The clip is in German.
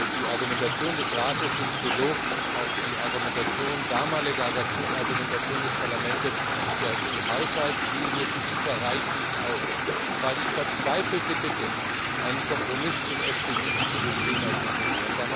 Die Argumentation des Rates im Trilog auf die damalige Argumentation des Parlaments, die Haushaltslinie für ITER reiche nicht aus, war die verzweifelte Bitte, einen Kompromiss im FP7 zu dem Thema zu finden.